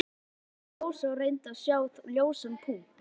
spurði Rósa og reyndi að sjá ljósan punkt.